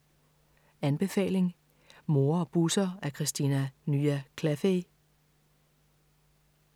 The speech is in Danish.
Anbefaling: Mor og Busser af Kristina Nya Glaffey